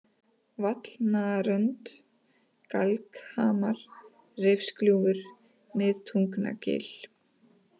Vallnarönd, Galghamar, Reifsgljúfur, Miðtungnagil